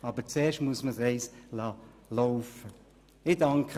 Aber zuerst muss man es einmal laufen lassen.